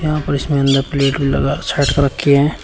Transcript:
यहां पर इसमें अंदर प्लेट भी लगा सैट कर रखी हैं।